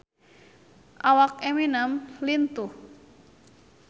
Awak Eminem lintuh